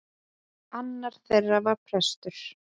Annar þeirra var prestur.